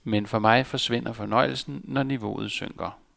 Men for mig forsvinder fornøjelsen, når niveauet synker.